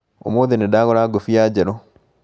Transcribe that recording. ũmũthĩ nĩndagũra ngobia njerũ